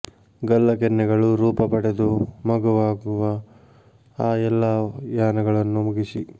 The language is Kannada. ಗಲ್ಲ ಕೆನ್ನೆಗಳು ರೂಪ ಪಡೆದು ಮಗುವಾಗುವ ಆ ಎಲ್ಲಾ ಯಾನಗಳನ್ನು ಮುಗಿಸಿ